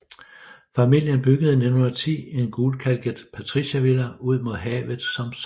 Familien byggede i 1910 en gulkalket patriciervilla ud mod havet som sommerbolig